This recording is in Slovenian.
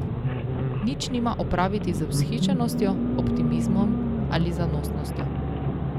Nič nima opraviti z vzhičenostjo, optimizmom ali zanosnostjo.